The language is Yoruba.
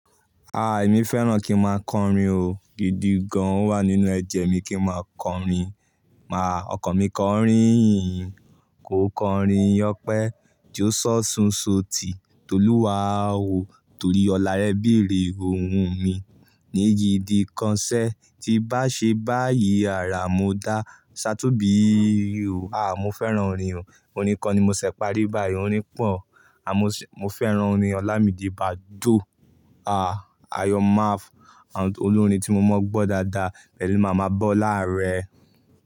Ah! Èmi fẹ́ràn kí n máa kọrin o, gidi gan an o wà nínú ẹ̀jẹ̀ mi kí n máa kọrin. Má, ọkàn mi kọrin yìí, kò kọrin opẹ́ jo ṣọ sun so ti Toluwa o, tórí ọlá rẹ be rẹ òhún mi ní gidi kan sé tí n bá ṣe báyìí àráa mo dá ṣá tóbi o. Mo fẹ́ràn orin o, orin kan ni mo ṣẹ̀ parí báyìí, orin pọ̀ mo fẹ́ràn orin ọlamide baddo Ayomaf àwọn olórin tí mo mọ̀ gbọ́ dáadáa. Pẹ̀lú mama bolá arẹ.